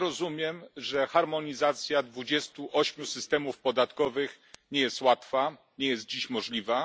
Rozumiem, że harmonizacja 28 systemów podatkowych nie jest łatwa i nie jest dziś możliwa.